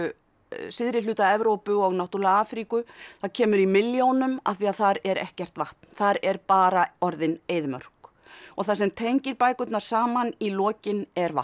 syðri hluta Evrópu og náttúrulega Afríku það kemur í milljónum af því þar er ekkert vatn þar er bara orðin eyðimörk og það sem tengir bækurnar saman í lokin er vatn